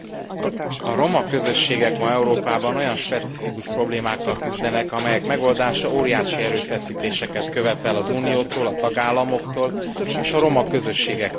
A roma közösségek ma Európában olyan specifikus problémákkal küzdenek, amelyek megoldása óriási erőfeszítéseket követel az Uniótól, a tagállamoktól és a roma közösségektől is.